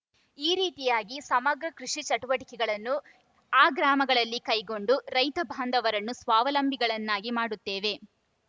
ಈ ರೀತಿಯಾಗಿ ಸಮಗ್ರ ಕೃಷಿ ಚಟುವಟಿಕೆಗಳನ್ನು ಆ ಗ್ರಾಮಗಳಲ್ಲಿ ಕೈಗೊಂಡು ರೈತ ಬಾಂಧವರನ್ನು ಸ್ವಾವಲಂಬಿಗಳನ್ನಾಗಿ ಮಾಡುತ್ತೇವೆ